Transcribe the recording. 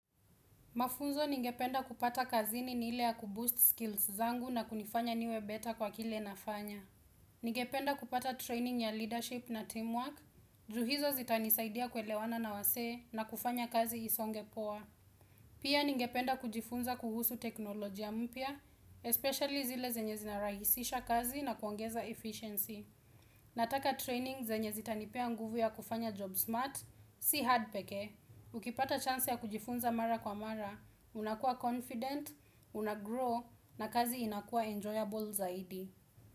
Mafunzo ningependa kupata kazini ni ile ya kuboost skills zangu na kunifanya niwe better kwa kile nafanya. Ningependa kupata training ya leadership na teamwork, ju hizo zitanisaidia kuelewana na wasee na kufanya kazi isonge poa. Pia ningependa kujifunza kuhusu teknolojia mpya, especially zile zenye zinarahisisha kazi na kuongeza efficiency. Nataka training zenye zitanipea nguvu ya kufanya job smart, si hard pekee. Ukipata chance ya kujifunza mara kwa mara, unakua confident, unagrow na kazi inakua enjoyable zaidi.